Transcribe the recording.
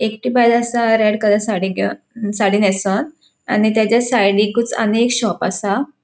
एकटी बायल आसा रेड कलर साडी घेवून साडी नेसोन आणि त्याच्या सायडिकूच आणि एक शॉप आसा.